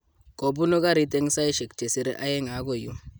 Kobunu garit eng saishek chesire aeng okoi yu.